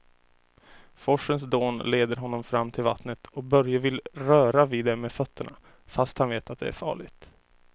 Forsens dån leder honom fram till vattnet och Börje vill röra vid det med fötterna, fast han vet att det är farligt.